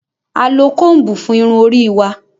A lo combu fún Irun orí wà